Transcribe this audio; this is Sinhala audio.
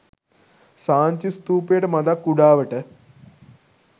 සාංචි ස්ථූපයට මඳක් කුඩාවට